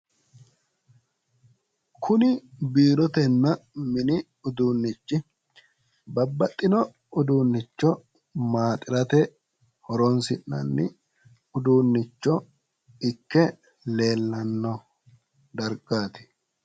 kuni biirotenna mini uduunnichi babbaxxino uduunicho maaxirate horonsi'nnani uduunnicho ikke leellanno dargaati.